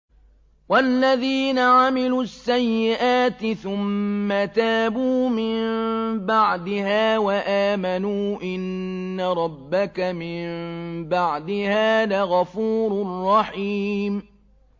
وَالَّذِينَ عَمِلُوا السَّيِّئَاتِ ثُمَّ تَابُوا مِن بَعْدِهَا وَآمَنُوا إِنَّ رَبَّكَ مِن بَعْدِهَا لَغَفُورٌ رَّحِيمٌ